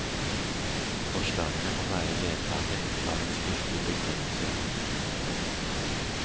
Forslagene må være ledsaget av en skriftlig begrunnelse.